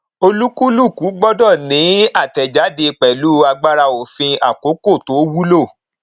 olúkúlùkù gbọdọ ni àtẹjáde pẹlú agbára òfin àkókò tó wulo